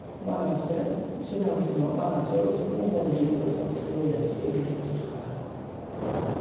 বানাচ্ছে cinema টিনেমা বানাচ্ছে এসব mobile দিয়ে বলে সব কিছু হয়ে যাচ্ছে edit ফেডিট করা